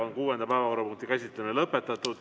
Kuuenda päevakorrapunkti käsitlemine on lõpetatud.